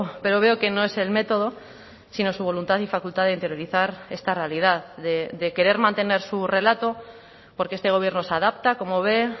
pero veo que no es el método sino su voluntad y facultad de interiorizar esta realidad de querer mantener su relato porque este gobierno se adapta como ve